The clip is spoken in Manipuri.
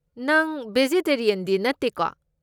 ꯅꯪ ꯕꯦꯖꯤꯇꯦꯔꯤꯌꯟꯗꯤ ꯅꯠꯇꯦꯀꯣ?